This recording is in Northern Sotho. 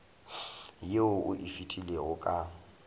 yeo o e filego ka